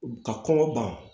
Ka kɔngɔ ban